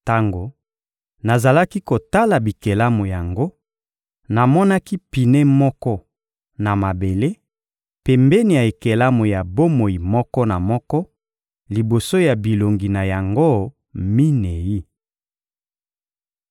Tango nazalaki kotala bikelamu yango, namonaki pine moko na mabele, pembeni ya ekelamu ya bomoi moko na moko, liboso ya bilongi na yango minei.